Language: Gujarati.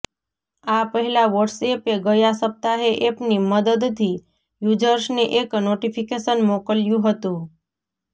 આ પહેલાં વોટ્સએેપે ગયા સપ્તાહે એપની મદદથી યૂઝર્સને એક નોટિફિકેશન મોકલ્યું હતું